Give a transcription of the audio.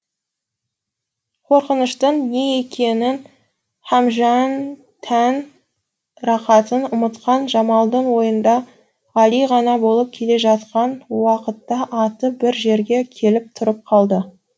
қорқыныштың не екенін һәмжән тән рақатын ұмытқан жамалдың ойында ғали ғана болып келе жатқан уақытта аты бір жерге келіп тұрып қалды